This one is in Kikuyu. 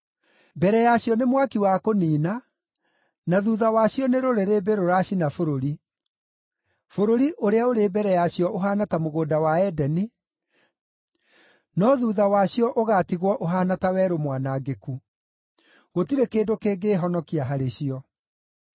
Mbere yacio nĩ mwaki wa kũniina, na thuutha wacio nĩ rũrĩrĩmbĩ rũracina bũrũri. Bũrũri ũrĩa ũrĩ mbere yacio ũhaana ta mũgũnda wa Edeni, no thuutha wacio ũgaatigwo ũhaana ta werũ mwanangĩku: gũtirĩ kĩndũ kĩngĩĩhonokia harĩ cio.